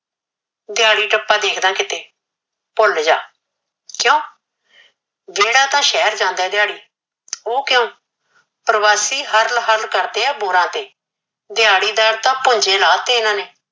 ਦਹਾੜੀ ਟਪਾ ਦੇਖ ਲੈ ਕਿਤੇ ਭੁਲ ਜਾ ਕਿਉ ਜਿਹੜਾ ਤਾ ਸ਼ਹਿਰ ਜਾਂਦਾ ਏ ਦਿਹਾੜੀ ਓਹ ਕਿਉ ਪਰਵਾਸੀ ਤਾ ਹਰਲ ਹਰਲ ਕਰਦੇ ਆ ਬੋਰਾ ਤੇ ਦਹਾੜੀਦਾਰ ਤਾ ਪੁਜੇ ਲਾਹ ਤੇ ਇਹਨਾ ਨੇ